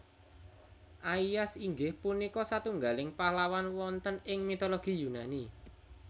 Aias inggih punika satunggaling pahlawan wonten ing mitologi Yunani